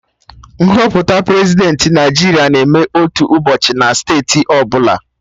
Nhọpụta Prezidentị Naijiria na-eme otu ụbọchị na steeti ọbụla